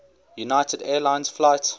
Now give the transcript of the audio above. united airlines flight